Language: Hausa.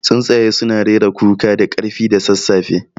Tsuntsaye suna rera kuka da ƙarfi da sassafe.